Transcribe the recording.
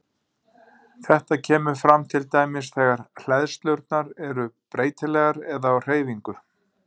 Þetta kemur fram til dæmis þegar hleðslurnar eru breytilegar eða á hreyfingu.